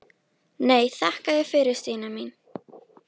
Nei, þakka þér fyrir Stína mín.